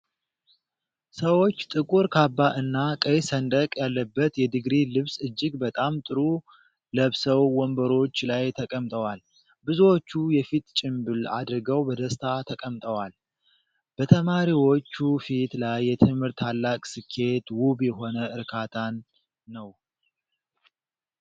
ሰዎች ጥቁር ካባ እና ቀይ ሰንደቅ ያለበት የድግሪ ልብስ እጅግ በጣም ጥሩ ለብሰው ወንበሮች ላይ ተቀምጠዋል። ብዙዎቹ የፊት ጭንብል አድርገው በደስታ ተቀምጠዋል። በተማሪዎቹ ፊት ላይ የትምህርት ታላቅ ስኬት ውብ የሆነ እርካታን ነው።